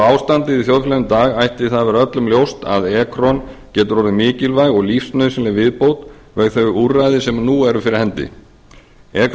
ástandið í þjóðfélaginu í dag ætti það að vera öllum ljóst að ekron getur orðið mikilvæg og lífsnauðsynleg viðbót við þau úrræði sem núna eru fyrir hendi ekron